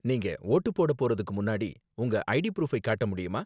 நீங்க வோட்டு போடப் போறதுக்கு முன்னாடி, உங்க ஐடி ப்ரூஃபை காட்ட முடியுமா?